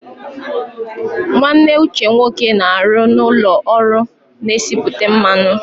Nwanne Uche nwoke na-arụ n'ụlọ ọrụ na-esipụta mmanụ.